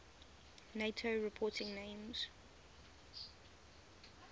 nato reporting names